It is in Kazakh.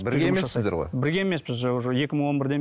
бірге емессіздер ғой бірге емеспіз уже екі мың он бірден